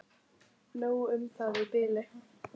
Nóg um það í bili.